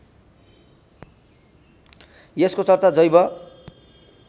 यसको चर्चा जैव